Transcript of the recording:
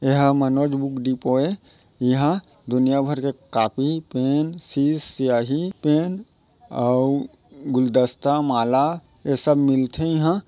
ये हा Manoj book depot हे इहां दुनिया भर के कॉपी पेन सीस स्याही पेन अउ गुलदस्ता माला ये सब मिलथे इहाँ।